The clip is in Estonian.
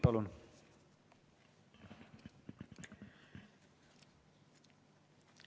Palun!